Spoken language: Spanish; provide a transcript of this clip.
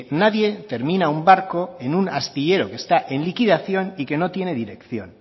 nadie termina un barco en un astillero que está en liquidación y que no tiene dirección